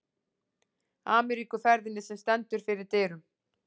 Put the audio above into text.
Ameríkuferðinni, sem stendur fyrir dyrum.